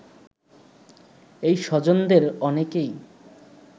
এই স্বজনদের অনেকেই